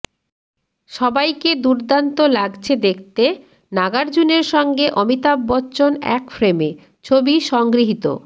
সবাইকে দুর্দান্ত লাগছে দেখতে নাগার্জুনের সঙ্গে অমিতাভ বচ্চন এক ফ্রেমে ছবি সংগৃহীত